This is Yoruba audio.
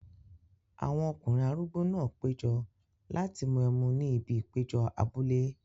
Àwọn ọkùnrin arúgbó náà péjọ láti mú ẹmu ní ibi ìpéjọ abúlé.